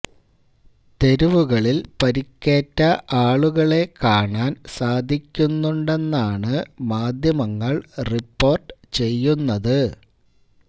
തെരുവുകളില് പരിക്കേറ്റ ആളുകളെ കാണാന് സാധിക്കുന്നുണ്ടെന്നാണ് മാധ്യമങ്ങള് റിപ്പോര്ട്ട് ചെയ്യുന്നത്